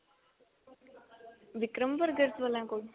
Vikram burgers ਵਾਲਿਆਂ ਕੋਲ